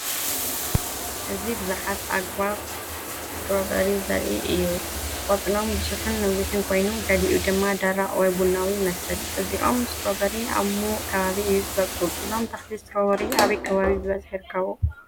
እዚ ብዙሓት ኣግራብ ስትሮቨሪ ዘርኢ እዩ። ቆጽሎም ብዙሕን ነዊሕን ኮይኑ፡ ገሊኡ ድማ ደረቕ ወይ ቡናዊ ይመስል። እዚ ኦም ስትሮቨሪ ኣብ ምዉቕ ከባቢ እዩ ዝበቁል። እዞም ተክሊ ስትሮቨሪ ኣበይ ከባቢ ብበዝሒ ይርከቡ?